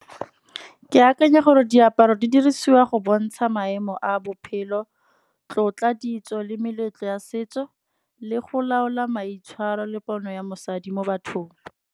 Ke akanya gore diaparo di dirisiwa go bontsha maemo a bophelo, tlotla, ditso le meletlo ya setso, le go laola maitshwaro le pono ya mosadi mo bathong.